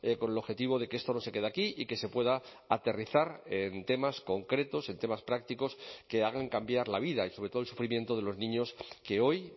con el objetivo de que esto no se quede aquí y que se pueda aterrizar en temas concretos en temas prácticos que hagan cambiar la vida y sobre todo el sufrimiento de los niños que hoy